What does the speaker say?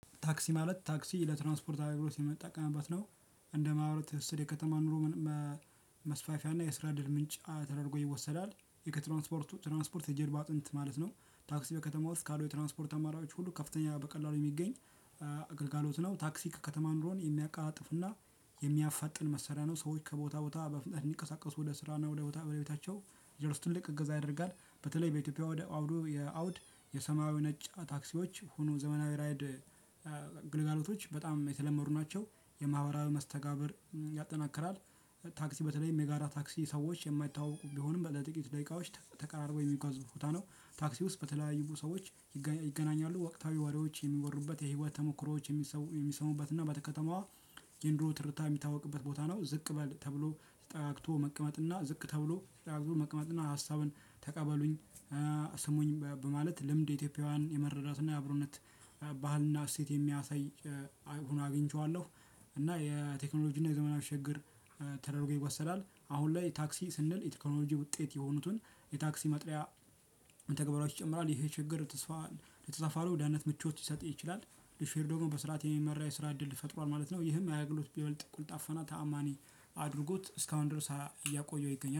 ታክሲ ማለት ታክሲ ለትራንስፖርት አገልግሎት የምጠቀምበት ነው። እንደ መብራት የከተማ ኑሮ። መስፋፊያና የስራ እድል ምንጭ ተደርጎ ይወሰዳል የከ ትራንስፖርቱ ትራንስፖርት የጀርባ አጥንት ማለት ነው። ታክሲ በከተማ ውስጥ ካሉ የትራንስፖርት አማራጮች ሁሉ ከፍተኛ በቀላሉ የሚገኝ እ ግልጋሎት ነው። ታክሲ ከከተማ ኑሮን የሚያቀላጥፍና የሚያፋጥን መሳሪያ ነው። ሰዎች ከቦታ ቦታ በፍጥነት የሚንቀሳቀሱ ወደ ስራና ወደ ቦታ በቤታቸው እንዲደርሱ ትልቅ እገዛ ያደርጋል። በተለይ በኢትዮጵያ ወደ አውዱ የአውድ የሰማያዊ ነጭ ታክሲዎች ሆኑ ዘመናዊ ራይድ እ ግልጋሎቶች በጣም የተለመዱ ናቸው። የማህበራዊ መስተጋብር ያጠናክራል። ታክሲ በተለይም የጋራ ታክሲ ሰዎች የማይታወቁ ቢሆንም በጥቂት ደቂቃዎች ተቀራርቦ የሚጓዙ ቦታ ነው። ታክሲ ውስጥ በተለያዩ ሰዎች ይገና ይገናኛሉ ወቅታዊ ወሬዎች የሚወሩበት የህይወት ተሞክሮዎች የሚሰሙበት እና በተከተማዋ የኑሮ ትርታ የሚታወቅበት ቦታ ነው። ዝቅ በል ተብሎ ተጠጋግቶ መቀመጥና ዝቅ ተብሎ ተጠጋግቶ መቀመጥና ሀሳብን ተቀበሉኝ እ ስሙኝ በማለት ልምድ ኢትዮጵያውያን የመረዳትና የአብሮነት ባህልና እሴት የሚያሳይ እ ሆኖ አግኝቼዋለሁ። እና የቴክኖሎጂና የዘመናዊ ሽግግር ተደርጎ ይወሰዳል። አሁን ላይ ታክሲ ስንል የቴክኖሎጂ ውጤት የሆኑትን የታክሲ መጥሪያ ተግባሮች ይጨምራል ይሄ ችግር ተስፋ ለተሳፋሪው ደህንነት ምቾት ሊሰጥ ይችላል። ለሼር ሆልደሩም በስርዓት የሚመራ የስራ እድል ፈጥሯል ማለት ነው። ይህም የአገልግሎት ቢበልጥ ቀልጣፋና ተዓማኒ አድርጎት እስካሁን ድረስ እያቆየው ይገኛል